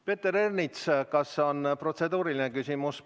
Peeter Ernits, kas on protseduuriline küsimus?